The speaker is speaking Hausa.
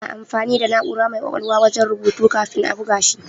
Ana amfani da na'ura mai ƙwaƙwalwa wajen rubutu kafin a buga shi.